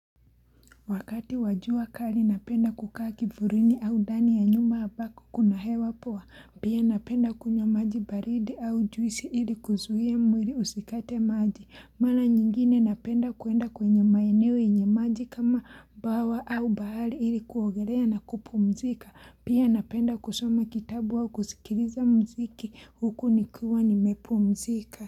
Wakati wa jua kali napenda kukaa kivulini au ndani ya nyumba ambako kuna hewa poa. Pia napenda kunywa maji baridi au juisi ili kuzuia mwili usikate maji. Mara nyingine napenda kuenda kwenye maeneo yenye maji kama bawa au bahari ili kuogelea na kupumzika. Pia napenda kusoma kitabu au kusikiliza muziki huku nikiwa nimepumzika.